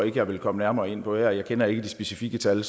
jeg vil komme nærmere ind på her jeg kender ikke de specifikke tal